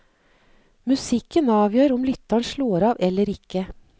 Musikken avgjør om lytteren slår av eller ikke.